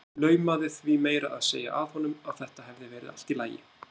Laumaði því meira að segja að honum að þetta hefði verið allt í lagi.